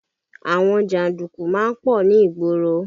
Àwọn janduku má ń pọ̀ ní ìgboro